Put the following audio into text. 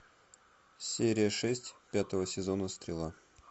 серия шесть пятого сезона стрела